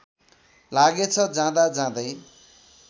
लागेछ जाँदा जाँदै